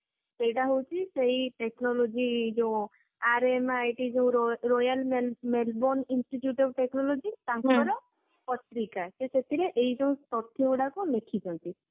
ସେଇଟା ହଉଛି ସେଇ technology ଯୋଊ RMIT royal melbourne institute of technology ତାଙ୍କର ପତ୍ରିକା ସେ ସେଥିରେ ଏଇ ଯୋଊ ତଥ୍ୟ ଗୁଡାକ ଲେଖିଛନ୍ତି